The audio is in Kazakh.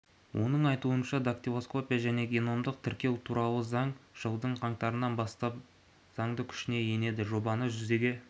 оның айтуынша дактилоскопия және геномдық тіркеу туралы заң жылдың қаңтарынан бастап заңды күшіне енеді жобаны жүзеге